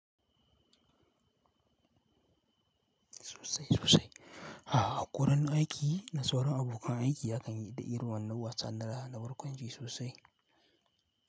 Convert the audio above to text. Sosai sosai. A'a, gurin aiki na sauran abokan aiki akan yi da irin wannan wasa na raha na barkwanci sosai.